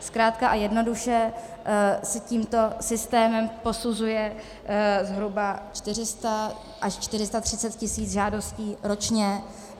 Zkrátka a jednoduše se tímto systémem posuzuje zhruba 400 až 430 tisíc žádostí ročně.